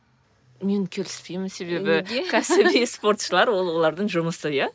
мен келіспеймін себебі кәсіби спортшылар ол олардың жұмысы иә